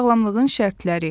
Sağlamlığın şərtləri.